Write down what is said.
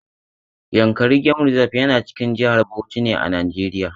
Yankari game reserve yana cikin jihar Bauchi ne a Najeriya.